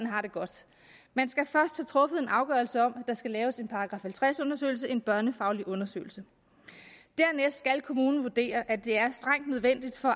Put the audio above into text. har det godt man skal først truffet en afgørelse om at der skal laves en § halvtreds undersøgelse en børnefaglig undersøgelse dernæst skal kommunen vurdere at det er strengt nødvendigt for